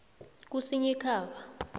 kusinyikhaba